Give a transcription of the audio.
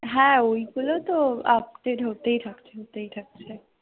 হ্যাঁ ওইগুলো তো update হতেই থাকছে হতেই থাকছে।